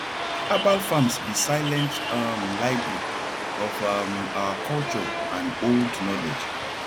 herbal farms be silent um library of um our culture and old knowledge